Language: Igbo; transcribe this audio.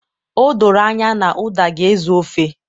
O doro anya na uda ga-ezu ofe